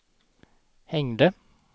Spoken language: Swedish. hängde